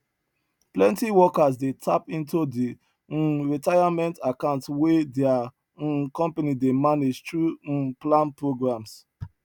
plenty workers dey tap into di um retirement accounts wey their um company dey manage through um plan programs